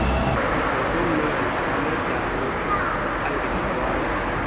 nakummandla amadami angenziwanga